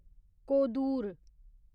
Kodur